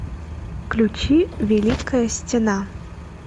включи великая стена